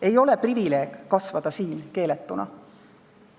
Ei ole privileeg kasvada siin keeletuna.